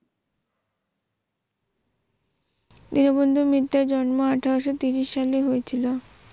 দীনবন্ধু মিত্রের জন্ম আঠারো শত সালে হয়েছিল